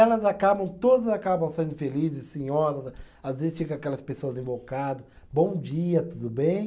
Elas acabam, todos acabam saindo felizes, senhoras, às vezes chega aquelas pessoas invocadas, bom dia, tudo bem?